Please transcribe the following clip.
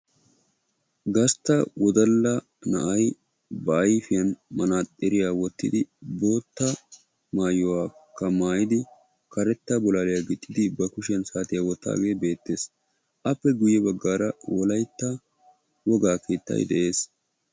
Gastta wodalla na'ayi ba ayfiya manaaxiriya wottidi bootta maayuwa maayidi karetta bolaaliya goxxidi ba kushiyan saatiya wottidaagee beettes. Appe guyye baggaara wolaytta wogaa keettayi de'es.